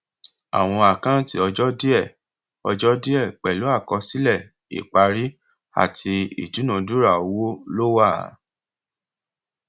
àwọn àkáǹtì ọjọ díẹ ọjọ díẹ pẹlú àkọsílẹ ìparí àti ìdúnadura owó ló wà